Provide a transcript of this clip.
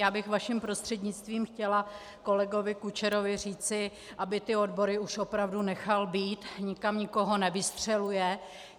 Já bych vaším prostřednictvím chtěla kolegovi Kučerovi říci, aby ty odbory už opravdu nechal být, nikam nikoho nevystřeluje.